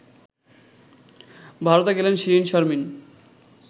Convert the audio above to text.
ভারতে গেলেন শিরীন শারমিন